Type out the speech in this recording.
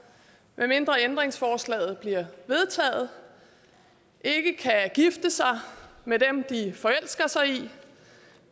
medmindre ændringsforslaget bliver vedtaget ikke kan gifte sig med dem de forelsker sig i